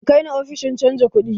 .Ka kai ni ofishin canja kudi!